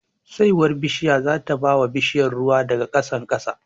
Saiwar bishiya zata bawa bishiya ruwa daga ƙasan ƙasa